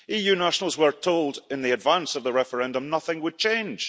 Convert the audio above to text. EU nationals were told in advance of the referendum that nothing would change.